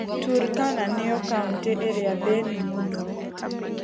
Turkana nĩyo kauntĩ ĩrĩa thĩnu mũno.